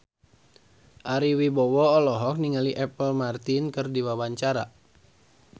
Ari Wibowo olohok ningali Apple Martin keur diwawancara